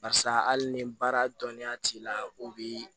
Barisa hali ni baara dɔnniya t'i la o bi